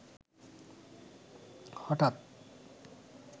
হঠাৎ